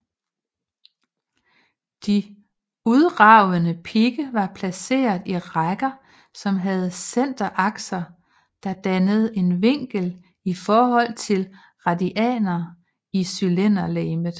De udragende pigge var placeret i rækker som havde centerakser der dannede en vinkel i forhold til radianer i cylinderlegemet